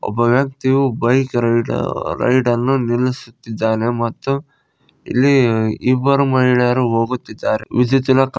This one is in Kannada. ಒಬ್ಬ ವ್ಯಕ್ತಿಯು ಬೈಕ್ ರೈಡ್ ರೈಡ ನ್ನು ನಿಲ್ಲಿಸುತಿದ್ದಾನೆ ಮತ್ತು ಇಲ್ಲಿ ಇಬ್ಬರು ಮಹಿಳೆಯರು ಹೋಗುತ್ತಿದ್ದಾರೆ ವಿಜಿತಿಲಕ --